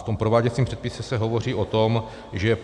V tom prováděcím předpise se hovoří o tom, že